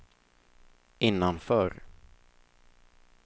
innanför